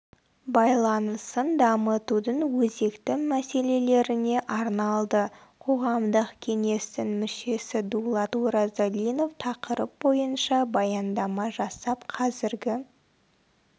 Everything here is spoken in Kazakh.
байланысын дамытудың өзекті мәселелеріне арналды қоғамдық кеңестің мүшесі дулат оразалинов тақырып бойынша баяндама жасап қазіргі